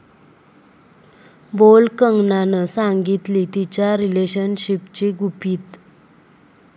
bold कंगनानं सांगितली तिच्या 'रिलेशनशिप'ची गुपितं